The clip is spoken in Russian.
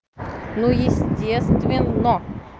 ну естественно